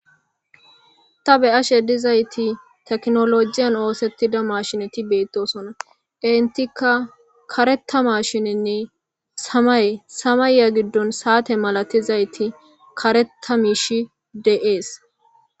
ta beyashe dizayti teknolojiyan oosettida mashineti beettosona entika karetamashinenne samay samayya giddon saate malatizayti kareta mishi de7ees